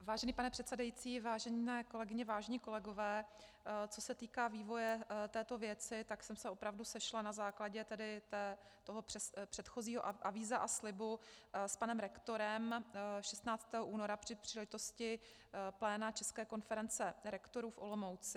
Vážený pane předsedající, vážené kolegyně, vážení kolegové, co se týká vývoje této věci, tak jsem se opravdu sešla na základě tedy toho předchozího avíza a slibu s panem rektorem 16. února při příležitosti pléna České konference rektorů v Olomouci.